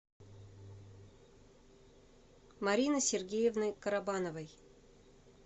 марины сергеевны карабановой